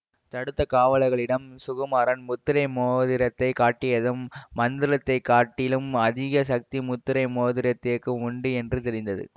தடுத்த காவலர்களிடம் சுகுமாரன் முத்திரை மோதிரத்தை காட்டியதும் மந்திரத்தைக் காட்டிலும் அதிக சக்தி முத்திரை மோதிரத்துக்கு உண்டு என்று தெரிந்தது